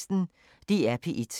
DR P1